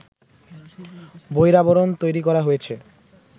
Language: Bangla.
বহিরাবরণ তৈরি করা হয়েছে